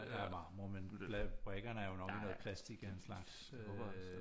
Er marmor men brikkerne er jo nok i noget plastik af en slags